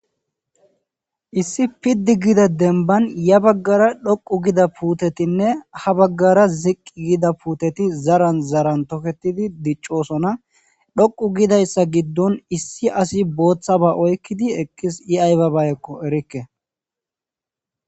Issi piddi gida dembban ya baggara dhoqqu gida puutetinne baggara ziqqi gida puuteti zaran zaran toketidi diccosona. Dhoqqu gidayssa giddon issi asi booththaba oykkidi eqqis ii aybaba oyqqo erikke.